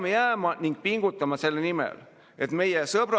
Ma juba osutasin majanduslikele põhjustele, sellepärast et seda tegi üks eelnõu esitaja.